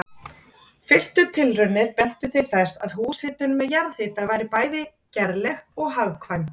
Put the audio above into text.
Fyrstu tilraunir bentu til þess að húshitun með jarðhita væri bæði gerleg og hagkvæm.